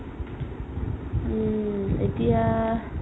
উম এতিয়া